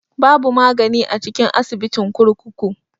Babu magani a cikin asibitin kurkuku.